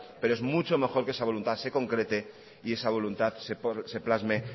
pero es mucho mejor que esa voluntad se concrete y esa voluntad se plasme